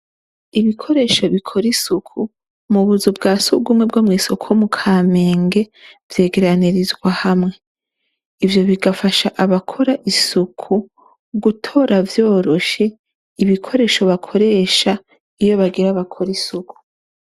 Ibikoresho bikora isuku mubuzu bwa sugumwe bwo mwisoko mukamenge vyegeranirizwa hamwe ivyo bigafasha abakora isuku gutora vyoroshe ibikoresho bakoresha iyo bagira bakore isuku.